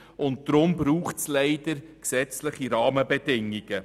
Deshalb braucht es leider gesetzliche Rahmenbedingungen.